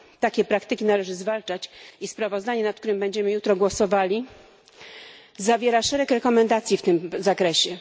Takie praktyki należy zwalczać i sprawozdanie, nad którym będziemy jutro głosowali, zawiera szereg rekomendacji w tym zakresie.